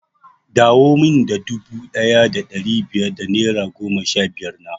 Dawo min da dubu ɗaya da ɗari biyar da naira goma sha biyar na!